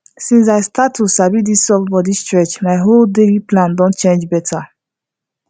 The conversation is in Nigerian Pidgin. since i start to sabi this soft body stretch my whole daily plan don change better